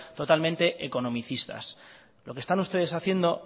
totalmente economicistas lo que están ustedes haciendo